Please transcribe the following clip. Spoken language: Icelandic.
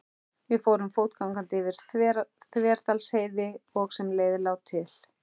Við fórum fótgangandi yfir Þverdalsheiði og sem leið lá til